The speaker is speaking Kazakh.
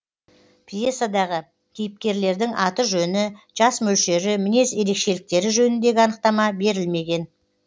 пьесадағы кейіпкерлердің аты жөні жас мөлшері мінез ерекшеліктері жөніндегі анықтама берілмеген